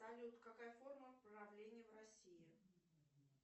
салют какая форма правления в россии